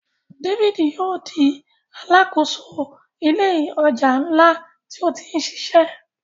David yóò di Aláàkóso ilé ọjà nla tí o tí ṣiṣẹ.